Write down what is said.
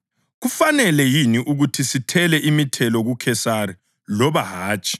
Kufanele yini ukuthi sithele imithelo kuKhesari loba hatshi?”